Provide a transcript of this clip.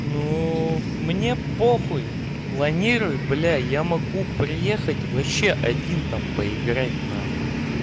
ну мне по хуй планируй бля я могу приехать вообще один там поиграть на хуй